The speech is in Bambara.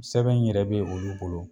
Sɛbɛn in yɛrɛ be olu bolo